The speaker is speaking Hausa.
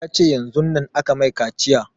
Ya ce yanzun nan aka mai kaciya